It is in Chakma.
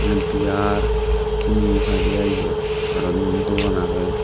beer siani paidey ai yot aro um dogan agey.